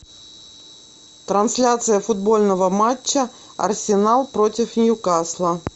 трансляция футбольного матча арсенал против ньюкасла